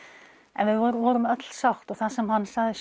en við vorum öll sátt það sem hann sagði